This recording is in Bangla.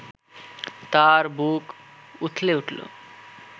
তার বুক উথলে উঠল